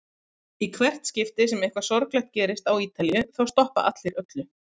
Í hvert skipti sem eitthvað sorglegt gerist á Ítalíu þá stoppa allir öllu.